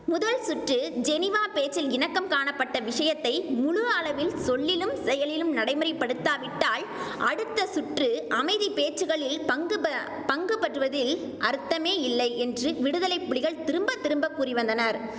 முதல்சுற்று ஜெனீவாப் பேச்சில் இணக்கம் காணப்பட்ட விஷயத்தை முழு அளவில் சொல்லிலும் செயலிலும் நடைமுறைப்படுத்தாவிட்டால் அடுத்த சுற்று அமைதிப்பேச்சுகளில் பங்குபெ பங்குபற்றுவதில் அர்த்தமேயில்லை என்று விடுதலைப்புலிகள் திரும்ப திரும்பக் கூறிவந்தனர்